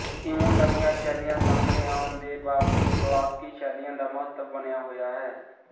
ਇਉਂ ਨਵੀਆਂ ਸ਼ੈਲੀਆਂ ਸਾਹਮਣੇ ਆਉਣ ਦੇ ਬਾਵਜੂਦ ਕਲਾਸਕੀ ਸ਼ੈਲੀਆਂ ਦਾ ਮਹੱਤਵ ਬਣਿਆ ਹੋਇਆ ਹੈ